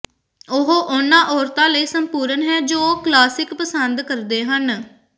ਉਹ ਉਨ੍ਹਾਂ ਔਰਤਾਂ ਲਈ ਸੰਪੂਰਨ ਹੈ ਜੋ ਕਲਾਸਿਕ ਪਸੰਦ ਕਰਦੇ ਹਨ